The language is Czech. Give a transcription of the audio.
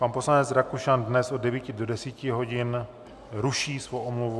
Pan poslanec Rakušan dnes od 9 do 10 hodin ruší svou omluvu.